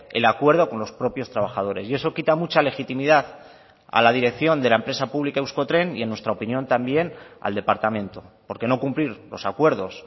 el acuerdo con los propios trabajadores y eso quita mucha legitimidad a la dirección de la empresa pública euskotren y en nuestra opinión también al departamento porque no cumplir los acuerdos